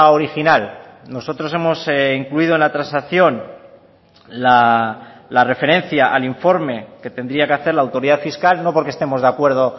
original nosotros hemos incluido en la transacción la referencia al informe que tendría que hacer la autoridad fiscal no porque estemos de acuerdo